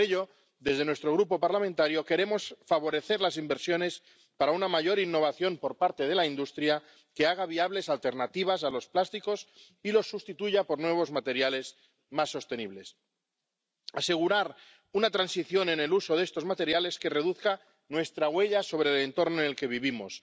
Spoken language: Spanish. Por ello, desde nuestro Grupo parlamentario queremos favorecer las inversiones para una mayor innovación por parte de la industria que haga viables alternativas a los plásticos y los sustituya por nuevos materiales más sostenibles. Se ha de asegurar una transición en el uso de estos materiales que reduzca nuestra huella sobre el entorno en el que vivimos.